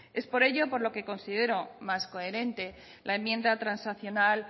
es por ello por lo que considera más coherente la enmienda transaccional